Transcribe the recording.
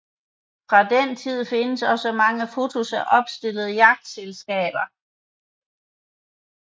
Fra den tid findes også mange fotos af opstillede jagtselskaber